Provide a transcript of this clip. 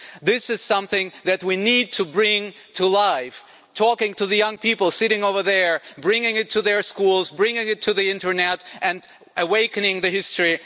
This is something that we need to bring to life, talking to the young people sitting over there, bringing it to their schools, bringing it to the internet and awakening the history.